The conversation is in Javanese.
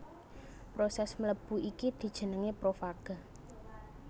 Prosès mlebu iki dijenengi profaga